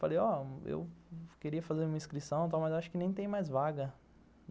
Falei, ó, eu queria fazer uma inscrição e tal, mas acho que nem tem mais vaga.